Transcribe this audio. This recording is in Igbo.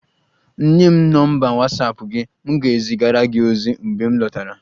Nye m nọmba Watsapụ gị, m ga-ezigara gị ozi mgbe m lọtara